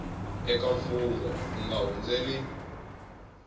eka mfungho u nga hundzeli